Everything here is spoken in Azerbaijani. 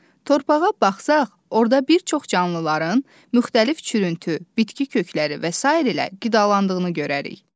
Torpağa baxsaq, orada bir çox canlıların müxtəlif çürüntü, bitki kökləri və sair ilə qidalandığını görərik.